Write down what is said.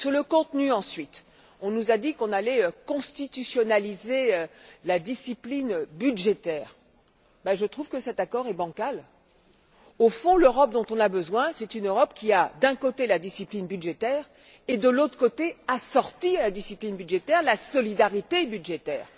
Concernant le contenu, on nous a dit que l'on allait constitutionnaliser la discipline budgétaire. Je trouve que cet accord est bancal. L'Europe dont nous avons besoin, c'est une Europe qui a, d'un côté, la discipline budgétaire et de l'autre, assortie à la discipline budgétaire, la solidarité budgétaire.